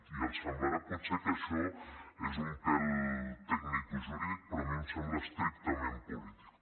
i els semblarà potser que això és un pèl tecnicojurídic però a mi em sembla estrictament polític